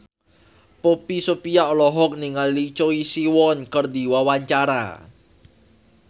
Poppy Sovia olohok ningali Choi Siwon keur diwawancara